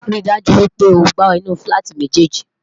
rí dájú wípé ọgbà inú filati méjèjì